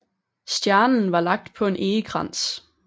Stjernen var lagt på en egekrans